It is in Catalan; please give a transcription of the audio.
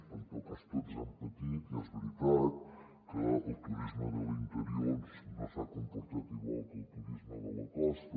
però en tot cas tots han patit i és veritat que el turisme de l’interior doncs no s’ha comportat igual que el turisme de la costa